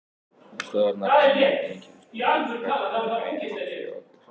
Hann stóð þarna í glænýjum einkennisbúningi, einhvern veginn hátt yfir okkur.